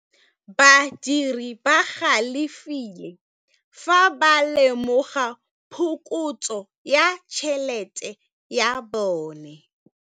Badiri ba galefile fa ba lemoga phokotsô ya tšhelête ya bone.